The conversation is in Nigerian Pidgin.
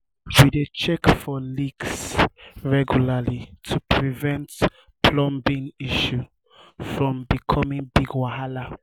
we dey check for leaks regularly to prevent plumbing issues from becoming big wahala.